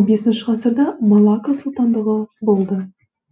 он бесінші ғасырда малакка сұлтандығы болды